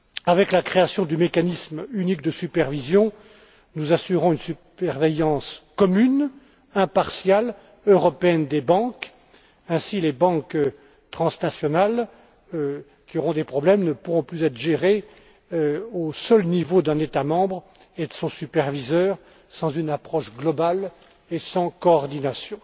Avec la création du mécanisme unique de supervision, nous assurons une surveillance commune, impartiale et européenne des banques. Ainsi, les banques transnationales, qui auront des problèmes, ne pourront plus être gérées au seul niveau d'un État Membre et de son superviseur, sans une approche globale et sans coordination.